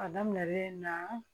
A daminɛlen na